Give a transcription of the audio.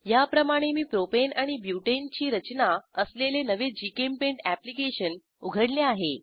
याप्रमाणे मी प्रोपेन आणि ब्युटेन ची रचना असलेले नवे जीचेम्पेंट अॅप्लिकेशन उघडले आहे